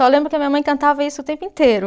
Só lembro que a minha mãe cantava isso o tempo inteiro.